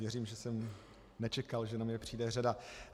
Věřím, že jsem nečekal, že na mě přijde řada.